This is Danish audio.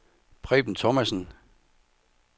Preben Thomassen